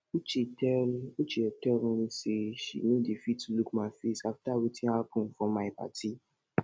uche tell uche tell me say she no dey fit look my face after wetin happen for my party